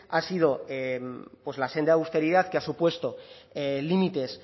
ha sido pues la senda de austeridad que ha supuesto límites